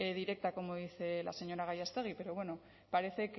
directa como dice la señora gallástegui pero bueno parece